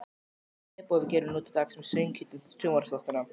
Svipað og við gerum nú til dags með söguhetjum sjónvarpsþáttanna.